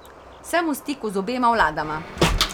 Sem v stiku z obema vladama.